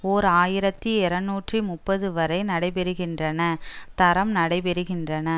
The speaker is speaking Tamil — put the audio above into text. ஓர் ஆயிரத்தி இருநூற்றி முப்பது வரை நடைபெறுகின்றன தரம் நடைபெறுகின்றன